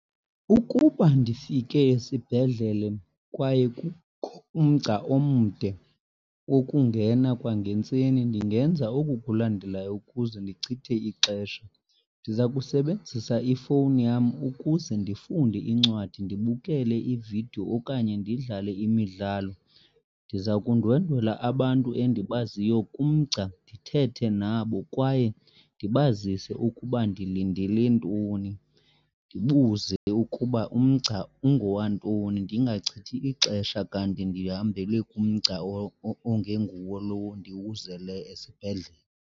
Ukuba ndifike esibhedlele kwaye kukho umgca omde wokungena kwangentseni ndingenza oku kulandelayo ukuze ndichithe ixesha. Ndiza kusebenzisa ifowuni yam ukuze ndifunde incwadi, ndibukele iividiyo okanye ndidlale imidlalo. Ndiza kundwendwela abantu endibaziyo kumgca ndithethe nabo kwaye ndibazise ukuba ndilindele ntoni. Ndibuze ukuba umgca ungowantoni, ndingachithi ixesha kanti ndihambele kumgca ongenguwo lowo ndiwuzele esibhedlele.